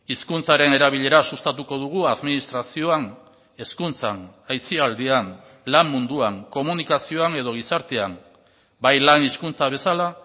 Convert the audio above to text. hizkuntzaren erabilera sustatuko dugu administrazioan hezkuntzan aisialdian lan munduan komunikazioan edo gizartean bai lan hizkuntza bezala